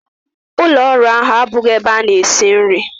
Ụlọ ọrụ abụghị ebe a na-esi nri.